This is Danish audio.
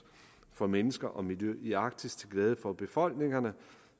for mennesker og miljø i arktis til glæde for befolkningerne